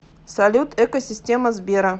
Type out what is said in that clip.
салют эко система сбера